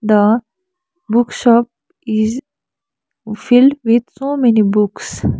the book shop is filled with so many books .